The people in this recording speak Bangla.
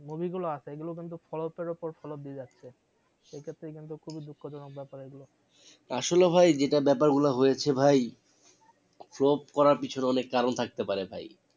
Movie গুলো আছে এগুলো কিন্তু flop এর ওপর flop দিয়ে যাচ্ছে সেক্ষেত্রে কিন্তু খুবই দুঃখ জনক বেপার এগুলো আসলে ভাই যেটা বেপার গুলো হয়েছে ভাই flop করার পেছনে অনেক কারণ থাকতে পারে ভাই